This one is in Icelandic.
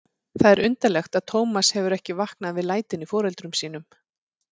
Það er undarlegt að Tómas hefur ekki vaknað við lætin í foreldrum sínum.